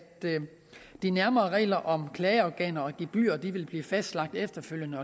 de nærmere regler om klageorganer og gebyrer vil blive fastlagt efterfølgende